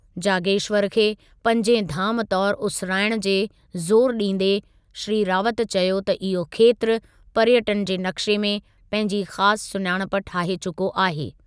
जागेश्वर खे पंजे धामु तौर उसिराइण ते ज़ोरु ॾींदे श्री रावत चयो त इहो खेत्रु, पर्यटनु जे नक़्शे में पंहिंजी ख़ासि सुञाणप ठाहे चुको आहे।